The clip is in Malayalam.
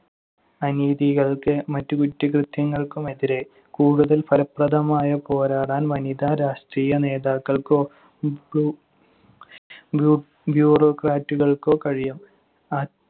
അനീതികൾക്ക് മറ്റ് കുറ്റകൃത്യങ്ങൾക്കുമെതിരെ കൂടുതൽ ഫലപ്രദമായ പോരാടാൻ വനിതാ രാഷ്ട്രീയ നേതാക്കൾക്കോ ബൂ~ bureaucrat കൾക്കോ കഴിയും. ആ~